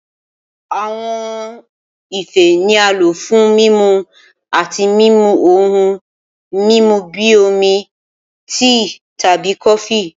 Awọn ife ni a lo fun mimu ati mimu ohun mimu bi omi, tii, tabi kofi.